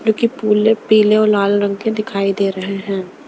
जो कि पूले पीले और लाल रंग के दिखाई दे रहे हैं .